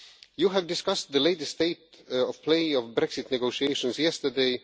well. You discussed the latest state of play of the Brexit negotiations yesterday.